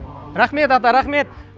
рахмет ата рахмет